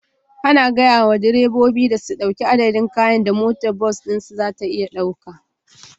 Ana gaya wa direbobi su ɗauki adadin kayan da motar bas ɗinsu za ta iya ɗauka